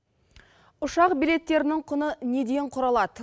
ұшақ билеттерінің құны неден құралады